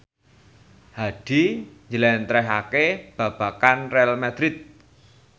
Hadi njlentrehake babagan Real madrid